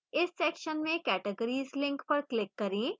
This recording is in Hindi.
इस section में categories link पर click करें